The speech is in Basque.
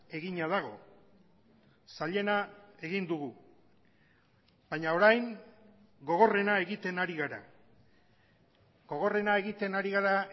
egina dago zailena egin dugu baina orain gogorrena egiten ari gara gogorrena egiten ari gara